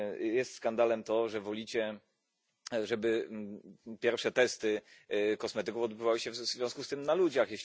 Jest skandalem to, że wolicie, żeby pierwsze testy kosmetyków odbywały się w związku z tym na ludziach.